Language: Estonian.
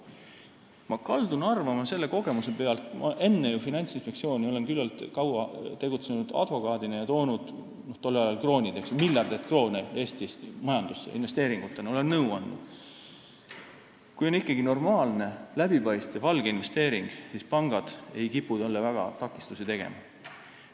Ma kaldun arvama oma kogemuse pealt – enne Finantsinspektsioonis töötamist olen küllaltki kaua tegutsenud advokaadina ja toonud tollel ajal, kui meil olid kroonid, miljardeid kroone Eestis majandusse investeeringutena, olen nõu andnud –, et kui on ikkagi normaalne, läbipaistev alginvesteering, siis pangad ei kipu eriti takistusi tegema.